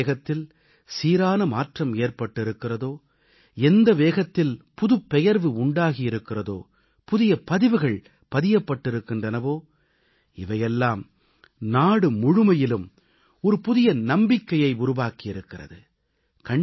எந்த வேகத்தில் சீரான மாற்றம் ஏற்பட்டிருக்கிறதோ எந்த வேகத்தில் புதுப்பெயர்வு உண்டாகியிருக்கிறதோ புதிய பதிவுகள் பதியப்பட்டிருக்கின்றனவோ இவையெல்லாம் நாடு முழுமையிலும் ஒரு புதிய நம்பிக்கையை உருவாக்கி இருக்கிறது